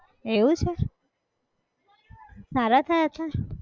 એવું છે, સારા થયા તા?